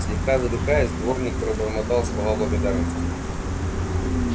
слегка задыхаясь дворник пробормотал слова благодарности